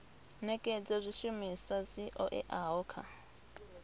nekedza zwishumiswa zwi oeaho kha